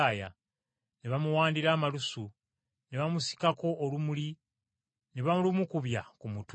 Ne bamuwandira amalusu, ne bamusikako olumuli ne balumukubya ku mutwe.